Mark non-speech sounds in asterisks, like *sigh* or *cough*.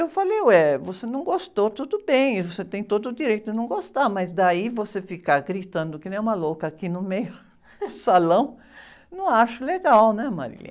Eu falei, ué, você não gostou, tudo bem, você tem todo o direito de não gostar, mas daí você ficar gritando que nem uma louca aqui no meio do salão, não acho legal, né? *unintelligible*